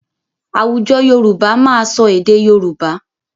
Àwùjọ Yorùbá máa sọ èdè Yorùbá.